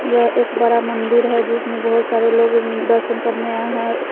यह एक बड़ा मंदिर है जिसमें बहोत सारे लोग दर्शन करने आए हैं।